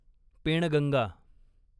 Penganga